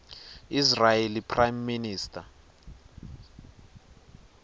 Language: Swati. israeli prime minister